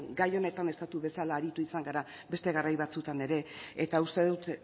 gai honetan estatu bezala aritu izan gara beste garai batzuetan ere eta uste dut